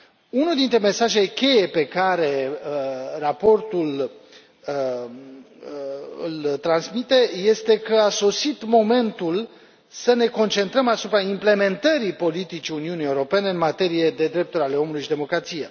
Unul dintre mesajele cheie pe care raportul îl transmite este că a sosit momentul să ne concentrăm asupra implementării politicii Uniunii Europene în materie de drepturi ale omului și democrație.